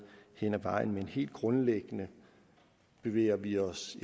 hen ad vejen men helt grundlæggende bevæger vi os